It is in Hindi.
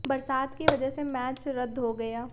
बरसात की वजह से मैच रद्द हो गया